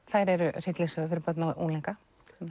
þær eru hryllingssögur fyrir börn og unglinga